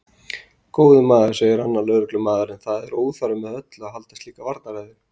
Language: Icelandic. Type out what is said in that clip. Góði maður, segir annar lögreglumaðurinn, það er óþarft með öllu að halda slíka varnarræðu.